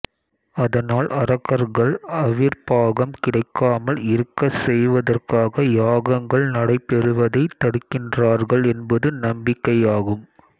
அதனால் அரக்கர்கள் அவிர்ப்பாகம் கிடைக்காமல் இருக்கச் செய்வதற்காக யாகங்கள் நடைபெறுவதை தடுக்கின்றார்கள் என்பது நம்பிக்கையாகும்